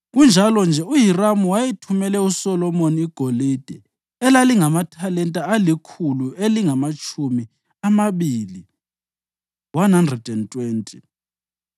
Kunjalo-nje uHiramu wayethumele uSolomoni igolide elalingamathalenta alikhulu elilamatshumi amabili (120).